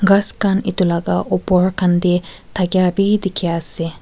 ghas khan etu laga opor khan te thakia bi dikhi ase.